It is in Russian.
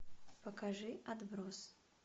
покажи отбросы